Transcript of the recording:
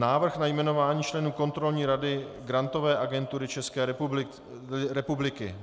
Návrh na jmenování členů Kontrolní rady Grantové agentury České republiky